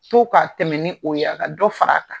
To k'a tɛmɛ ni o yen, ka dɔ far'a kan.